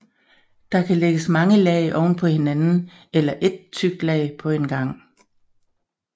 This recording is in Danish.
Der kan lægges mange lag ovenpå hinanden eller ét tykt lag på en gang